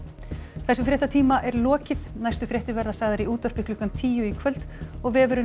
þessum fréttatíma er lokið næstu fréttir verða sagðar í útvarpi klukkan tíu í kvöld og vefurinn